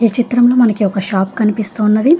ఈ చిత్రంలో మనకి ఒక షాప్ కనిపిస్తూ ఉన్నది.